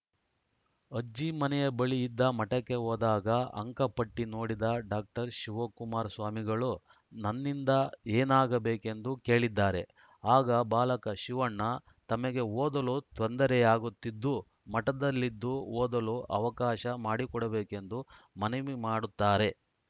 ಅಜ್ಜಿ ಮನೆಯ ಬಳಿ ಇದ್ದ ಮಠಕ್ಕೆ ಹೋದಾಗ ಅಂಕ ಪಟ್ಟಿನೋಡಿದ ಡಾಕ್ಟರ್ ಶಿವಕುಮಾರ ಸ್ವಾಮಿಗಳು ನನ್ನಿಂದ ಏನಾಗಬೇಕೆಂದು ಕೇಳಿದ್ದಾರೆ ಆಗ ಬಾಲಕ ಶಿವಣ್ಣ ತಮಗೆ ಓದಲು ತೊಂದರೆಯಾಗುತ್ತಿದ್ದು ಮಠದಲ್ಲಿದ್ದು ಓದಲು ಅವಕಾಶ ಮಾಡಿಕೊಡಬೇಕೆಂದು ಮನವಿ ಮಾಡುತ್ತಾರೆ